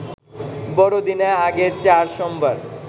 বড়দিনের আগের চার সোমবার